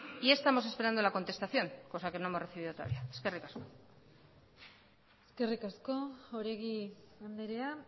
y estamos esperando a la contestación cosa que no hemos recibido todavía eskerrik asko eskerrik asko oregi andrea